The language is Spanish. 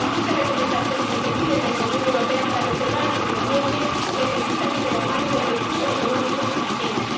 Las muchas recomendaciones que se piden desde la Unión Europea para preservar el medio ambiente necesitan ir de la mano de recursos económicos suficientes.